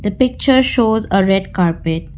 the picture shows a red carpet.